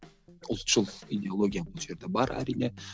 ұлтшыл идеология бұл жерде бар әрине